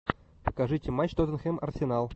покажите матч тоттенхэм арсенал